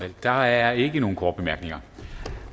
der er ikke nogen korte bemærkninger